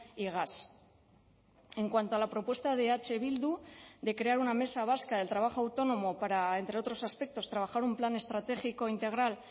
y gas en cuanto a la propuesta de eh bildu de crear una mesa vasca del trabajo autónomo para entre otros aspectos trabajar un plan estratégico integral